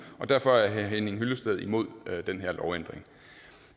og derfor er herre henning hyllested imod den her lovændring